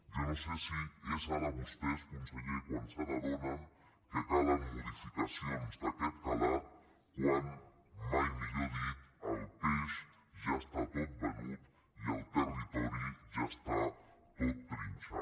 jo no sé si és ara vostès conseller quan se n’adonen que ca·len modificacions d’aquest calat quan mai millor dir el peix ja està tot venut i el territori ja està tot trinxat